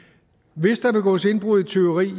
hvis der begås indbrud og tyveri i